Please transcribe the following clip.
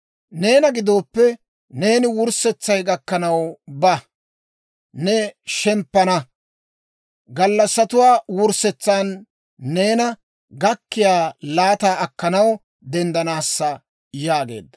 «Neena gidooppe, neeni wurssetsay gakkanaw ba. Neeni shemppana; gallassatuwaa wurssetsan neena gakkiyaa laataa akkanaw denddanaassa» yaageedda.